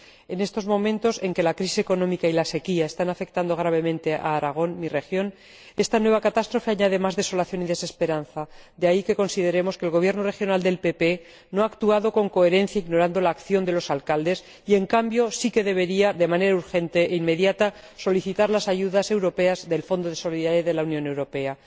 En estos momentos en que la crisis económica y la sequía están afectando gravemente a Aragón, mi región, esta nueva catástrofe añade más desolación y desesperanza. De ahí que consideremos que el Gobierno regional del PP no ha actuado con coherencia, ignorando la acción de los alcaldes y, en cambio, sí que debería, de manera urgente e inmediata, solicitar las ayudas europeas del Fondo de Solidaridad de la Unión Europea.